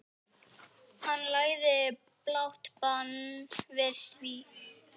Hann lagði blátt bann við því.